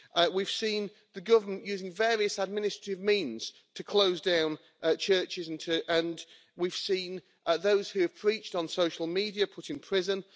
We have seen the government using various administrative means to close down churches, and we have seen those who have preached on social media put in prison.